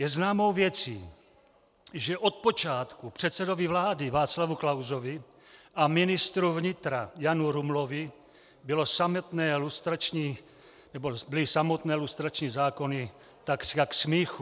Je známou věcí, že od počátku předsedovi vlády Václavu Klausovi a ministru vnitra Janu Rumlovi byly samotné lustrační zákony takřka k smíchu.